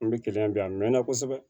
An bɛ kilian bila a mɛn na kosɛbɛ